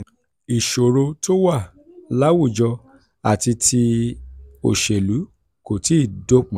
ìṣòro tó wà láwùjọ àti ti òṣèlú kò tíì dópin.